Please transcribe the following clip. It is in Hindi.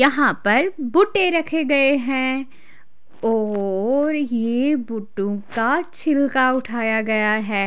यहाँ पर बुट्टे रखे गए हैं और ये बूट्टों का छिलका उठाया गया है।